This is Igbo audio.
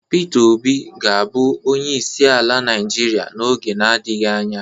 Pita Obi ga abu onyeisi ala naijiria n'oge na-adighị anya.